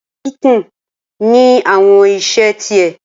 Ilé kíkún ní àwọn irinṣẹ́ ti ẹ̀.